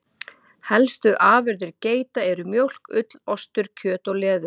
Helstu afurðir geita eru mjólk, ull, ostur, kjöt og leður.